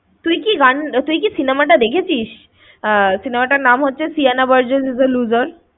তুই কি গান~তুই কি সিনেমাটা দেখেছিস? আহ cinema টার নাম হচ্ছে Sieana Burgess is a looser